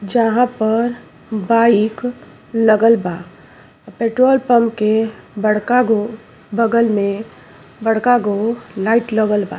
जहाँ पर बाइक लगल बा। अ पेट्रोल पंप के बड़का गो बगल में बड़का गो लाइट लगल बा।